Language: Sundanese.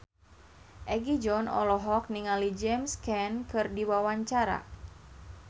Egi John olohok ningali James Caan keur diwawancara